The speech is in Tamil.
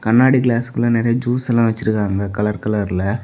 கண்ணாடி கிளாஸ்க்குள்ள நறைய ஜூஸ் எல்லாம் வச்சிருக்காங்க கலர் கலர்ல .